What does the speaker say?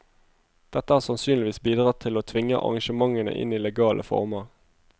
Dette har sannsynligvis bidratt til å tvinge arrangementene inn i legale former.